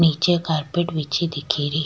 निचे कारपेट बिछी दिखे री।